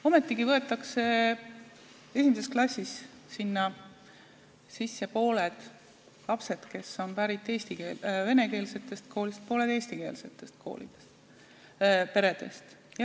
Ometigi on 1. klassis pooled lapsed pärit venekeelsetest peredest ja pooled eestikeelsetest peredest.